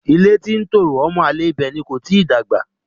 Ilé tí ń tòrò ọmọ àlè ibẹ̀ ni kò tíì dàgbà.